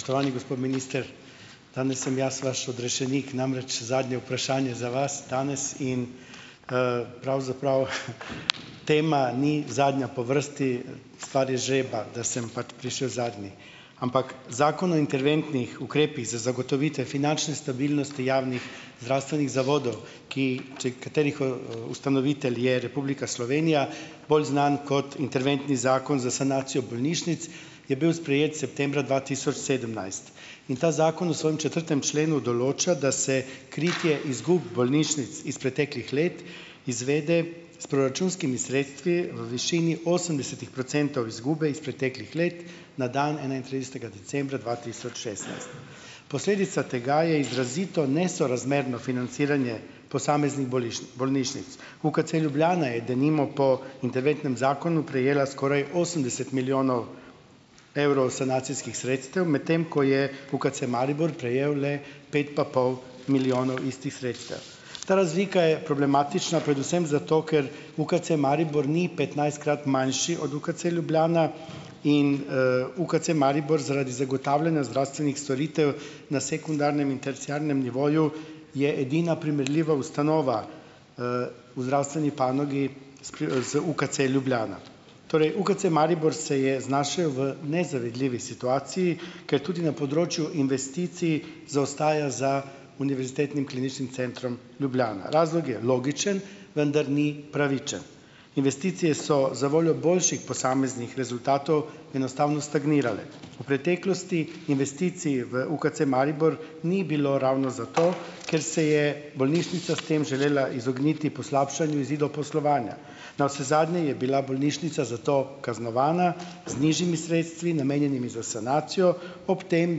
Spoštovani gospod minister . Danes sem jaz vaš odrešenik , namreč zadnje vprašanje za vas danes in, pravzaprav, tema ni zadnja po vrsti, stvar žreba, da sem pač prišel zadnji. Ampak Zakon o interventnih ukrepih za zagotovitev finančne stabilnosti javnih zdravstvenih zavodov , ki, če katerih, ustanovitelj je Republika Slovenija, bolj znan kot interventni zakon za sanacijo bolnišnic, je bil sprejet septembra dva tisoč sedemnajst. In ta zakon v svojem četrtem členu določa, da se kritje izgub bolnišnic iz preteklih let izvede s proračunskimi sredstvi v višini osemdesetih procentov izgube iz preteklih let na dan enaintridesetega decembra dva tisoč šestnajst. Posledica tega je izrazito nesorazmerno financiranje posameznih bolnišnic. UKC Ljubljana je denimo po interventnem zakonu prejela skoraj osemdeset milijonov evrov sanacijskih sredstev , medtem ko je UKC Maribor prejel le pet pa pol milijonov istih sredstev . Ta razlika je problematična predvsem zato, ker UKC Maribor ni petnajstkrat manjši od UKC Ljubljana in, UKC Maribor zaradi zagotavljanja zdravstvenih storitev na sekundarnem in terciarnem nivoju je edina primerljiva ustanova, v zdravstveni panogi z UKC Ljubljana. Torej, UKC Maribor se je znašel v nezavidljivi situaciji, ker tudi na področju investicij zaostaja za Univerzitetnim kliničnim centrom Ljubljana. Razlog je logičen, vendar ni pravičen. Investicije so za voljo boljših posameznih rezultatov enostavno stagnirale . V preteklosti investicij v UKC Maribor ni bilo ravno zato , ker se je bolnišnica s tem želela izogniti poslabšanju izidov poslovanja. Navsezadnje je bila bolnišnica za to kaznovana, z nižjimi sredstvi, namenjenimi za sanacijo, ob tem,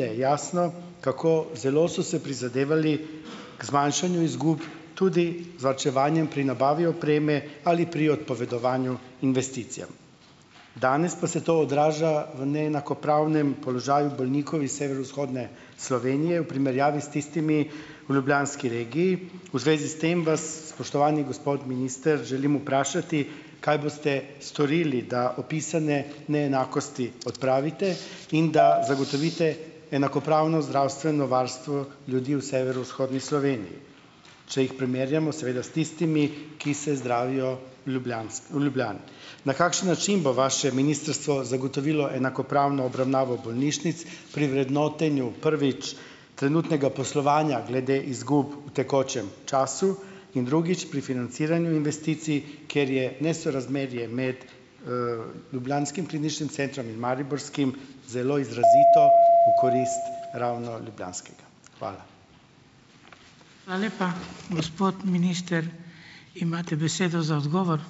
da je jasno, kako zelo so se prizadevali k zmanjšanju izgub, tudi varčevanjem pri nabavi opreme ali pri odpovedovanju investicijam. Danes pa se to odraža v neenakopravnem položaju bolnikov iz severovzhodne Slovenije v primerjavi s tistimi v ljubljanski regiji. V zvezi s tem vas, spoštovani gospod minister, želim vprašati: "Kaj boste storili, da opisane neenakosti odpravite in da zagotovite enakopravno zdravstveno varstvo ljudi v severovzhodni Sloveniji ?" Če jih primerjamo seveda s tistimi, ki se zdravijo v v Ljubljani? Na kakšen način bo vaše ministrstvo zagotovilo enakopravno obravnavo bolnišnic pri vrednotenju, prvič, trenutnega poslovanja glede izgub v tekočem času, in drugič, pri financiranju investicij, ker je nesorazmerje med, ljubljanskim kliničnim centrom in mariborskim zelo izrazito v korist ravno ljubljanskega. Hvala. Hvala lepa. Gospod minister, imate besedo za odgovor.